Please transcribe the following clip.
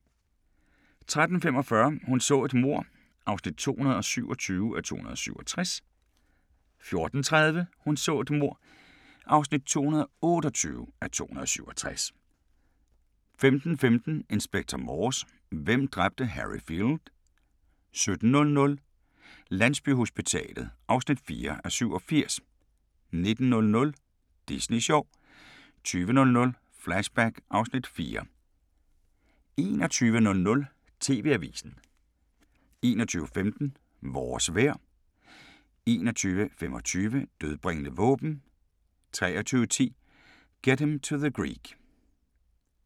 13:45: Hun så et mord (227:267) 14:30: Hun så et mord (228:267) 15:15: Inspector Morse: Hvem dræbte Harry Field? 17:00: Landsbyhospitalet (4:87) 19:00: Disney sjov 20:00: Flashback (Afs. 4) 21:00: TV-avisen 21:15: Vores vejr 21:25: Dødbringende våben 23:10: Get Him to the Greek